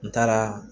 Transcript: N taaraa